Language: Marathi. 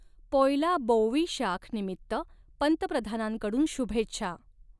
पोयला बौइशाख निमित्त पंतप्रधानांकडून शुभेच्छा